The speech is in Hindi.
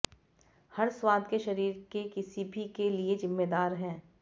हर स्वाद के शरीर के किसी भी के लिए जिम्मेदार है